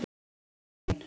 Marín